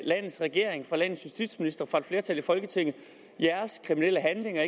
landets regering fra landets justitsminister fra et flertal i folketinget jeres kriminelle handlinger